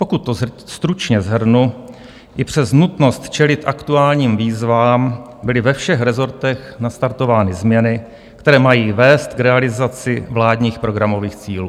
Pokud to stručně shrnu, i přes nutnost čelit aktuálním výzvám byly ve všech rezortech nastartovány změny, které mají vést k realizaci vládních programových cílů.